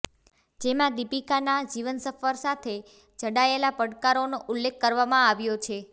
જેમાં દિપીકા ના જીવન સફર સાથે જાડાયેલા પડકારો નો ઉલ્લેખ કરવામાં આવ્યો છે